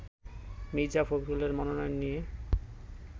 মির্জা ফখরুলের মনোনয়ন নিয়ে